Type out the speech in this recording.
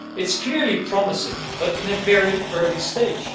It is clearly promising, but at a very early stage.